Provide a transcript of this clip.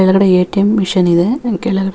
ಕೆಳಗಡೆ A T M machine ಇದೆ ಕೆಳಗಡೆ --